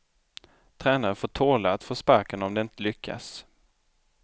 Tränare får tåla att få sparken om de inte lyckas.